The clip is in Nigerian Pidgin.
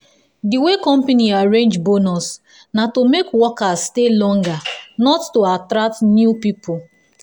the way the company arrange bonus na to make workers stay longer not to to attract new people.